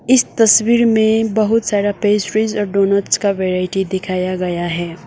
इस तस्वीर में बहुत सारा पेस्ट्रीज और डोनट्स का वैरायटी दिखाया गया है।